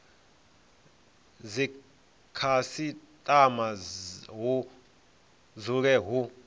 a dzikhasitama hu dzule hu